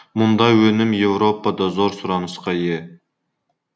мұндай өнім еуропада зор сұранысқа ие